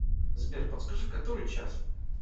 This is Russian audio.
сбер подскажи который час